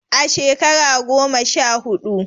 A shekara goma sha huɗu.